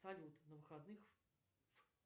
салют на выходных